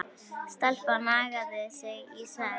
Stelpan nagaði sig í svefn.